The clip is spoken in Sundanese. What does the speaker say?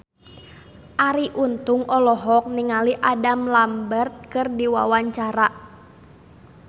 Arie Untung olohok ningali Adam Lambert keur diwawancara